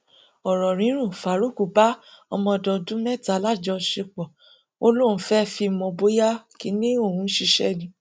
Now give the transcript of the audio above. ọrọ rírùn faruq bá ọmọdọndún mẹta láṣepọ ó lóun fẹẹ fi mọ bóyá kinní òun ṣiṣẹ ni